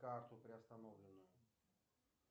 карту приостановленную